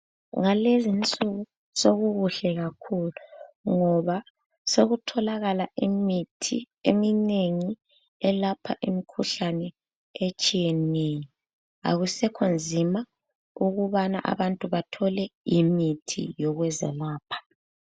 Ngalezi nsuku sekukuhle kakhulu ngoba sekutholakala imithi eminengi elapha imikhuhlane etshiyeneyo. Akusekho nzima ukubana abantu bathole imithi yokuzelapha.